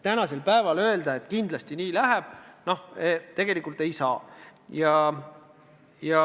Tänasel päeval öelda, et kindlasti just nii läheb, tegelikult ei saa.